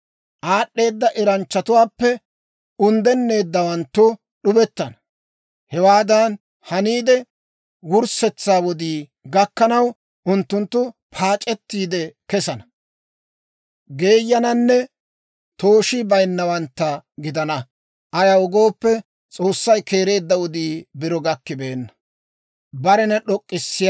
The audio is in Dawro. Aad'd'eeda eranchchatuwaappe unddennawanttu d'ubettana. Hewaadan haniide, wurssetsaa wodii gakkanaw, unttunttu paac'ettiide kesana, geeyananne tooshii bayinnawantta gidana. Ayaw gooppe, S'oossay keereedda wodii biro gakkibeenna.